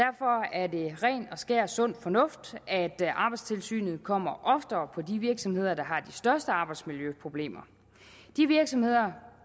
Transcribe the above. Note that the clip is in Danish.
er det ren og skær sund fornuft at arbejdstilsynet kommer oftere på de virksomheder der har de største arbejdsmiljøproblemer de virksomheder